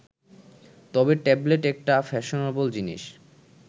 তবে ট্যাবলেট একটা ফ্যাশনেবল জিনিস